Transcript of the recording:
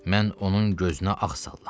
Mən onun gözünə ağ sallam.